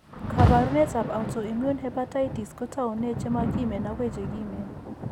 Kaabarunetap autoimmune hepatitis ko taune che mo kiimen akoi che kiimen.